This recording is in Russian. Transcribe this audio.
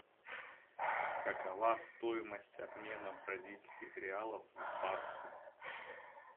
какова стоимость обмена бразильских реалов в баксы